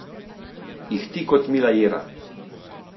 Ihti kot mila jera.